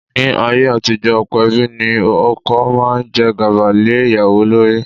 Ní ayé àtijọ́, ọ̀pọ̀ ẹbí ní ọkọ máa ń jẹ́ gàba lé ìyàwó lórí.